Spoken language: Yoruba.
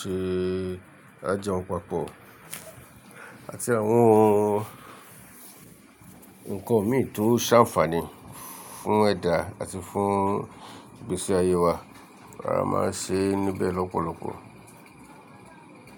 ṣe àjọ̀npápọ̀ àti àwọn ǹkan mì tó ṣàǹfààní fún ẹ̀dá àti fún gbèsè ayé wa. A máa ń ṣe níbẹ̀ lọ́pọ̀lọpọ̀.